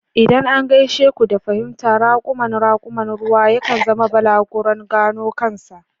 Idan an gaishe ku da fahimta, raƙuman raƙuman ruwa yakan zama balaguron gano kansa.